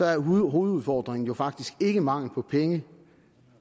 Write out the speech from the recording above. er hovedudfordringen jo faktisk ikke mangel på penge